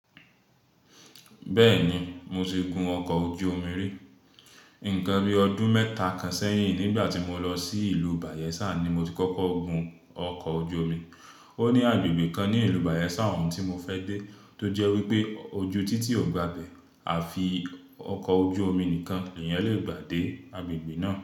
Bẹ́ẹ̀ni, mo ti gun ọkọ̀ ojú omi rí. Nìkan bí ọdún mẹ́ta kan sẹ́yìn nígbà tí mo lọ sí ìlú Bayelsa ni mo ti kọ́kọ́ gun ọkọ̀ ojú omi. Ó ní agbègbè kan ní ìlú Bayelsa ọ̀hùn tí mo fẹ́ dé tó jẹ́ wí pé ojú títì ò gba abẹ́ àfi ọkọ̀ ojú omi nìkan lèèyàn lè gbà dé agbègbè náà.